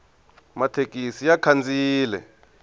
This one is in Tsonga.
mathekisi ya khandziyile